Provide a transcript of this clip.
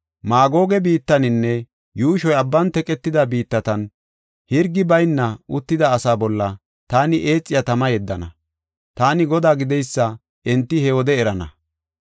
Maagoge biittaninne yuushoy abban teqetida biittatan, hirgi bayna uttida asaa bolla taani eexiya tama yeddana. Taani Godaa gideysa enti he wode erana.